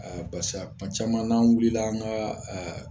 Aa barisa vcaman n'an wulila an ka aa